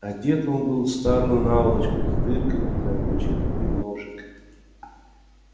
одет он был в старую наволочку с дырками для ручек и ножек